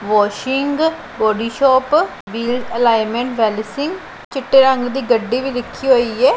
Washing body shop wheel alignment ਵੈਲੀਸੀ ਚਿੱਟੇ ਰੰਗ ਦੀ ਗੱਡੀ ਵੀ ਰੱਖੀ ਹੋਈ ਐ।